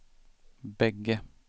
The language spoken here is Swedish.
bägge